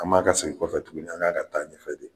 An man ka segin kɔfɛ tuguni an kan ka taa ɲɛfɛ de